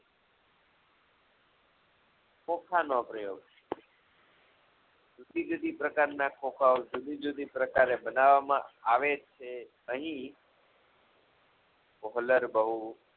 ખોખાનો પ્રયોગ જુદીજુદી પ્રકારના ખોખાઓ જુદીજુદી પ્રકારે ધનાવમાં આવે છે અહી કોહલર બહું